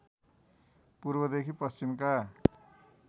पूर्वदेखि पश्चिमका